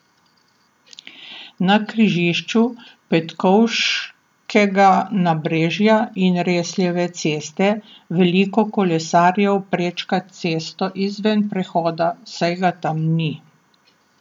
Na križišču Petkovškega nabrežja in Resljeve ceste veliko kolesarjev prečka cesto izven prehoda, saj ga tam ni.